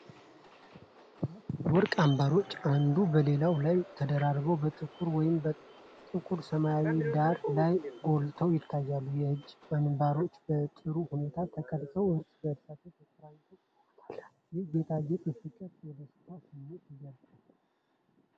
አራት የወርቅ አንባሮች አንዱ በሌላው ላይ ተደራርበው በጥቁር ወይም ጥቁር ሰማያዊ ዳራ ላይ ጎልተው ይታያሉ። የእጅ አንባሮቹ በጥሩ ሁኔታ ተቀርጸው፣ እርስ በእርስ ተቆራኝተው ውበት አላቸው። ይህ ጌጣጌጥ የፍቅርና የደስታ ስሜትን ያንጸባርቃል።